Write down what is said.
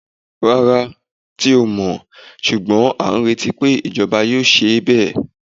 Rárá, ti o mọ, ṣugbọn a ń reti pé ijọba yóò ṣe bẹ.